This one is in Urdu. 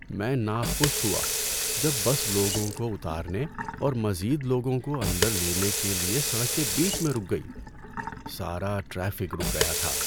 میں ناخوش ہوا جب بس لوگوں کو اتارنے اور مزید لوگوں کو اندر لینے کے لیے سڑک کے بیچ میں رک گئی۔ سارا ٹریفک رک گیا تھا۔